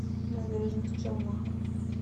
набережных челнах